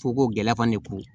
Fo ko gɛlɛya fana ko